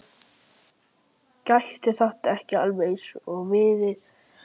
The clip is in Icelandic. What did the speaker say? Hún horfir framhjá honum eins og hann biður hana um.